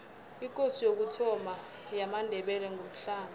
ikosi yokuthoma yamandebele ngumhlanga